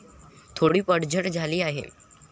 थोडी पडझड झाली आहे.